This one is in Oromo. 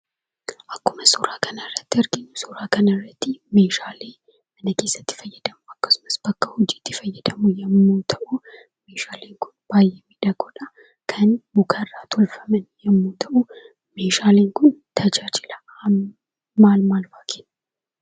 Akkuma suuraa kanarratti arginu, suuraa kanarratti meeshaalee mana keessatti itti fayyadamnu akkasumas bakka hojiitti itti fayyadamnu yoo ta'uu meeshaaleen kun baayyee midhagoodhaa kan mukarraa tolfaman yemmuu ta'u, meeshaaleen kun tajaajila maal maalfaa kennu.